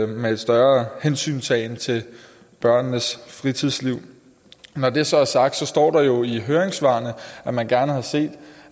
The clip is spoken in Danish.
med større hensyntagen til børnenes fritidsliv når det så er sagt står der jo i høringssvarene at man gerne havde set